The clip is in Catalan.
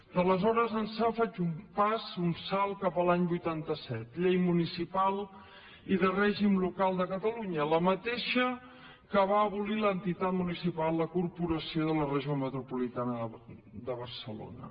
d’aleshores ençà faig un pas un salt cap a l’any vuitanta set llei municipal i de règim local de catalunya la mateixa que va abolir l’entitat municipal corporació de la regió metropolitana de barcelona